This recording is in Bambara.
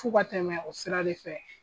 F'u ka tɛmɛ o sira de fɛ.